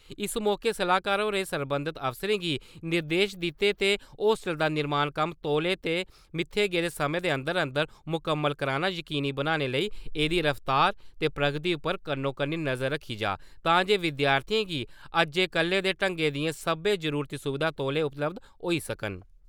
इस मौके सलाह्कार होरें सरबंधत अफसरें गी निर्देश दित्ता ते होस्टल दा निर्माण कम्म तौले ते मित्थे गेदे समें दे अंदर-अंदर मुकम्मल करना यकीनी बनाने लेई एह्दी रफ्तार ते प्रगति पर कन्नो-कन्नी नज़र रक्खी जाऽ तां जे विद्यार्थियें गी अज्जै कल्लै दे ढंगै दियां सब्भै जरुरी सुविधा तौले उपलब्ध होई सकन ।